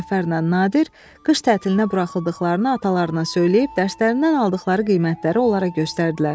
Cəfərlə Nadir qış tətilinə buraxıldıqlarını atalarına söyləyib dərslərindən aldıqları qiymətləri onlara göstərdilər.